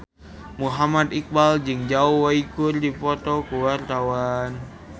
Muhammad Iqbal jeung Zhao Wei keur dipoto ku wartawan